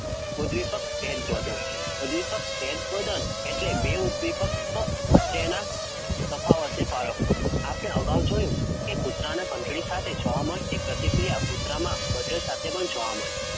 ઉદ્દીપક પહેલબદન ઉદ્દીપક પહેલબદન એટલે બે ઉદ્દીપક ક વચ્ચેના તફાવતને પારખવો. આપડે અગાઉ જોયું કે કૂતરાના ઘંટડી સાથે જોવા મળતી પ્રતિક્રિયા કૂતરામાં buzzer સાથે પણ જોવા મળી